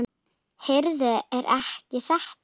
Heyrðu. ekki er þetta?